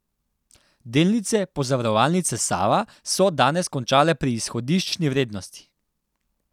Delnice Pozavarovalnice Sava so danes končale pri izhodiščni vrednosti.